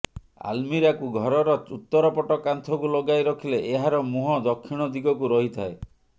ଆଲ୍ମୀରାକୁ ଘରର ଉତ୍ତରପଟ କାନ୍ଥକୁ ଲଗାଇ ରଖିଲେ ଏହାର ମୁହଁ ଦକ୍ଷିଣ ଦିଗକୁ ରହିଥାଏ